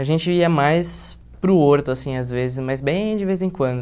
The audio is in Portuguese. A gente ia mais para o Horto, assim, às vezes, mas bem de vez em quando.